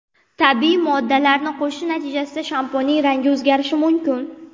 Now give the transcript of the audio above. Tabiiy moddalarni qo‘shish natijasida shampunning rangi o‘zgarishi mumkin.